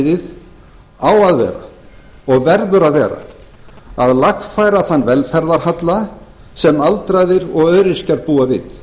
forgangsatriðið á að vera og verður að vera að lagfæra þann velferðarhalla sem aldraðir og öryrkjar búa við